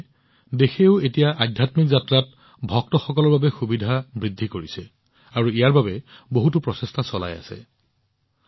সেয়েহে আনকি দেশখনেও এতিয়া আধ্যাত্মিক যাত্ৰাত ভক্তসকলৰ বাবে সুবিধা বৃদ্ধি কৰিবলৈ বহুতো প্ৰচেষ্টা চলাই আছে